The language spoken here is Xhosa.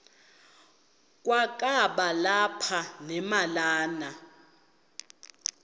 kwakaba lapha nemalana